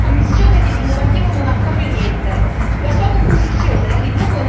Oggi ci troviamo qui a discutere di una Commissione che di innovativo non ha proprio niente.